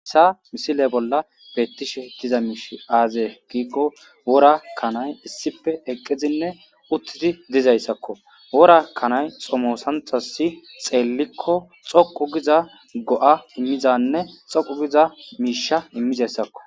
assa misile bolla beettishe diza miish aaze giikko wora kanay issife eqqizinne uttidi dizayssakko wora kanay xomosanthasi xeellikko xoqu giza go7a immizanne xoqu giza miisha immizayssakko